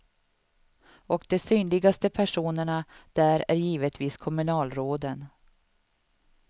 Och de synligaste personerna där är givetvis kommunalråden.